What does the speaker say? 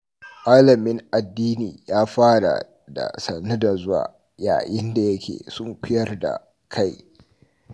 Malamin addini ya fara da "sannu da zuwa" yayin da yake sunkuyar da kai.